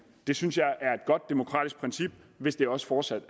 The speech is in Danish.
det synes jeg er et godt demokratisk princip hvis det også fortsat